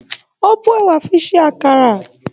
O bó ẹ̀wà fi ṣe àkàrà.